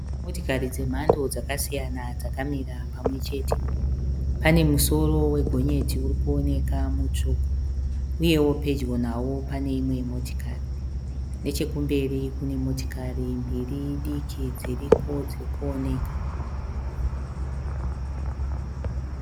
motikari dzemhando dzakasiyana dzakamira pamwechete. pane musoro wegonyeti urikuoneka mutsvuku uyeo pedyo nao pane imwe motikari. nechekumberi kune motokari mbiri diki dzirikuoneka.